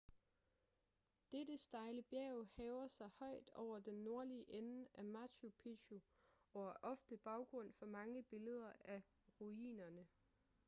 dette stejle bjerg hæver sig højt over den nordlige ende af machu picchu og er ofte baggrund for mange billeder af ruinerne